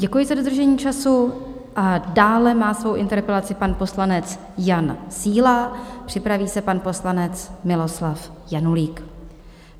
Děkuji za dodržení času a dále má svou interpelaci pan poslanec Jan Síla, připraví se pan poslanec Miloslav Janulík.